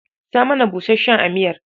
Sa mana busasshen a miyar